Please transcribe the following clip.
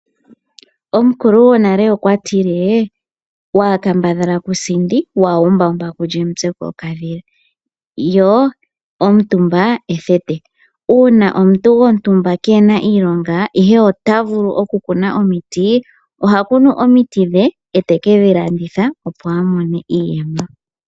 Omukulu gwonale okwa tile, waa kambadhala ku sindi, waa umba umba, ku lya omutse gwo okadhila, yo omutumba ethete. Uuna omuntu gwontumba kee na iilonga, ihe ota vulu oku kuna omiti, oha kunu omiti dhe, e teke dhi landitha, opo a mone iiyemo.